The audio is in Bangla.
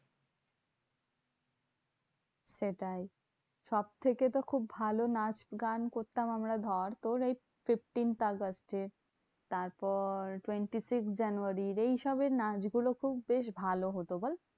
সেটাই সবথেকে তো খুব ভালো নাচ গান করতাম আমরা ধর তোর এই fifteenth আগস্টে। তারপর twenty-six জানুয়ারির। এইসবের নাচগুলো খুব বেশ ভালো হতো বল?